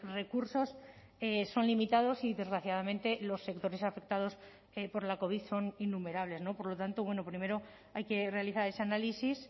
recursos son limitados y desgraciadamente los sectores afectados por la covid son innumerables por lo tanto bueno primero hay que realizar ese análisis